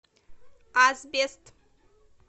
асбест